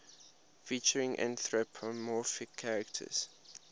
featuring anthropomorphic characters